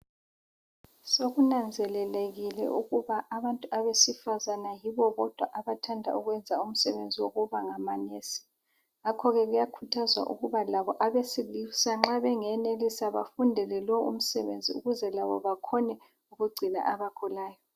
Sokunanzelelekile ukuba abantu besifazane yibo bodwa abathanda ukwenza umsebenzi wokuba ngama Nesi. Ngakho kuyakhuthazwa ukuba labo abesilisa nxa bengenelisa bafundele lo umsebenzi ukuze labo bakhone ukugcina abagulayo.